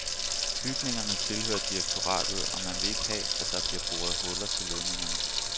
Bygningerne tilhører direktoratet, og man vil ikke have, at der bliver boret huller til ledningerne.